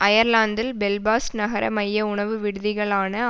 அயர்லாந்தில் Belfast நகர மைய உணவு விடுதிகளான